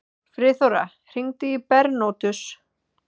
Friðþóra, hringdu í Bernótus.